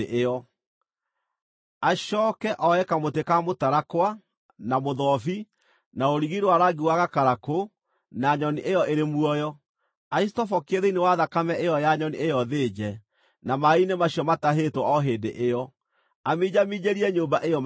Acooke oe kamũtĩ ka mũtarakwa, na mũthobi, na rũrigi rwa rangi wa gakarakũ na nyoni ĩyo ĩrĩ muoyo, acitobokie thĩinĩ wa thakame ĩyo ya nyoni ĩyo thĩnje, na maaĩ-inĩ macio matahĩtwo o hĩndĩ ĩyo, aminjaminjĩrie nyũmba ĩyo maita mũgwanja.